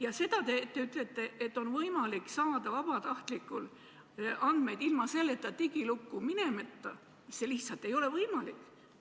Teiseks, te ütlete, et vabatahtlikul on võimalik saada andmeid ilma digilukku minemata – see lihtsalt ei ole võimalik.